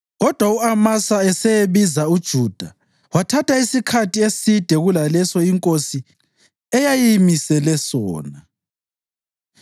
Kodwa u-Amasa eseyebiza uJuda, wathatha isikhathi eside kulaleso inkosi eyayimisele sona.